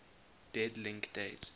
dead link date